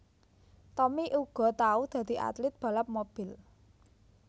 Tommy uga tau dadi atlit balap mobil